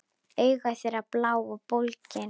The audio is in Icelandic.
Augu þeirra blá og bólgin.